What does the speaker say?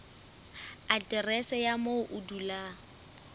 aterese ya moo o dulang